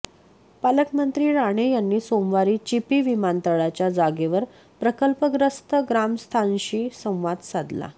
पालकमंत्री राणे यांनी सोमवारी चिपी विमानतळाच्या जागेवर प्रकल्पग्रस्त ग्रामस्थांशी संवाद साधला